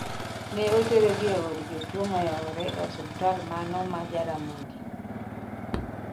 ne oter gi e od jotuo moewore e osiptal mano ma Jaramogi